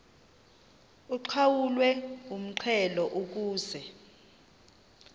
uqhawulwe umxhelo ukuze